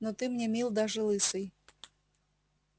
но ты мне мил даже лысый